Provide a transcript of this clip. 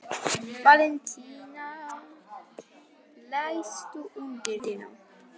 Valentína, læstu útidyrunum.